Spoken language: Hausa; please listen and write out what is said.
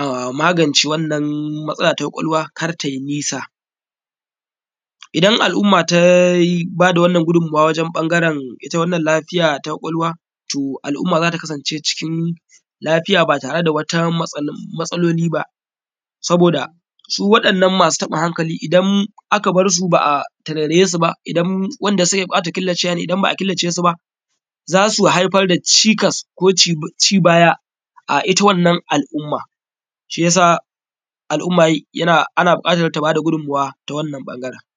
a magance wannan matsala ta kwakwalwa kar te nisa. Idan al’umma ta bada wannan gudummuwa wajen ɓangare ita wannan lafiya ta kwakwalwa to al’umma zata kasance cikin lafiya ba tare da matsaloli saboda su wadannan kasu taɓin hankali idan aka barsu ba’a tarairaye su ba idan wanda suke bukatan kilacewa ne idan ba a killace su ba za su haifar da cikas ko ci baya a ita wannan al’umma shiyasa al’umma ana buƙatan ta bada gummuwa ta wannan bangaren